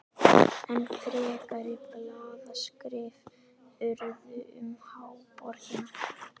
Enn frekari blaðaskrif urðu um háborgina.